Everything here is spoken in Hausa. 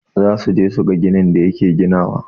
Zasuje suga ginin da yake ginawa.